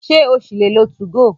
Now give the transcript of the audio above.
Ṣé o ṣì lè lo 2go?